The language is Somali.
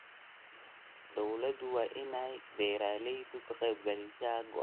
Dawladdu waa inay beeralayda ka qaybgelisaa go'aannada beeraha.